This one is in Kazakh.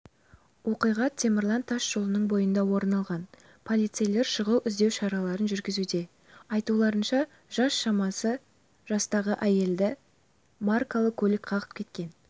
оқиға темірлан тас жолының бойында орын алған полицейлер шұғыл іздеу шараларын жүргізуде айтуларынша жас шамасы жастағы әйелді маркалы көлік қағып кеткен